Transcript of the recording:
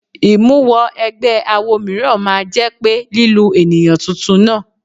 Ìmúwọ ẹgbẹ́ awọ mìíràn máa jẹ́ pé lílu ènìyàn tuntun náà.